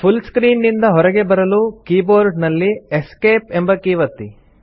full screen ನಿಂದ ಹೊರಗೆ ಬರಲು ಕೀಬೋರ್ಡ್ ನಲ್ಲಿ ಎಸ್ಕೇಪ್ ಎಂಬ ಕೀ ಒತ್ತಿ